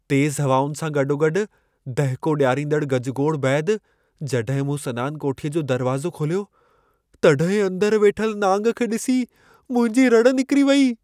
तेज़ु हवाउनि सां गॾोगॾु दहिको ॾियारींदड़ गजगोड़ बैदि जॾहिं मूं सनान कोठीअ जो दरवाज़ो खोलियो, तॾहिं अंदरि वेठल नांग खे ॾिसी मुंहिंजी रड़ि निकिरी वेई।